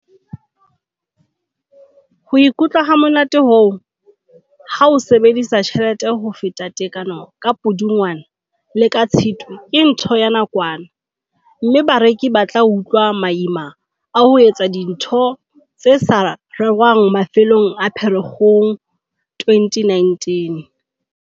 "Ho ikutlwa hamonate hoo, ha o sebedisa tjhelete ho feta tekanyo ka Pudungwana le ka Tshitwe ke ntho ya nakwana, mme bareki ba tla utlwa maima a ho etsa dintho tse sa rerwang mafelong a Pherekgong 2019."